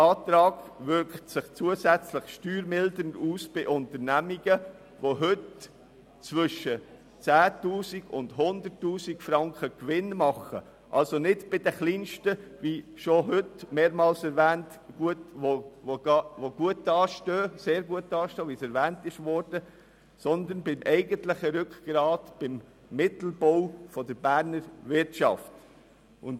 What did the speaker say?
Mein Antrag wirkt sich zusätzlich steuermildernd auf Unternehmungen aus, die heute zwischen 10 000 und 100 000 Franken Gewinn machen, also nicht bei den kleinsten, die gut dastehen, wie es erwähnt wurde, sondern beim eigentlichen Rückgrat der Berner Wirtschaft, dem Mittelbau.